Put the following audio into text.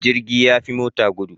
Jirgi yafi mota gudu